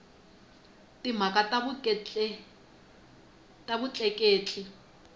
timhaka ta vutleketli